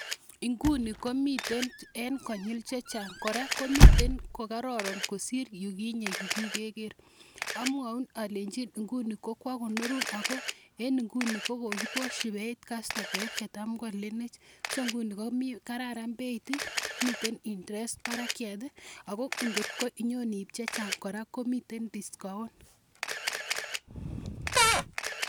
Inguni komitei eng' konyil che chang' , kora komiten ko kararan kosir yu kinye yu kike ker. Amwaun alechin nguni koko kwa konorun ako en inguni ko kokiposchi peit kastomaek che cham ko alenech. So nguni ko kararan peit i, miten interest parakyat ako ngot ko inyon iip che chang' kora komiten discount.